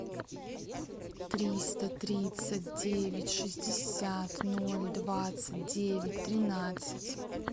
триста тридцать девять шестьдесят ноль двадцать девять тринадцать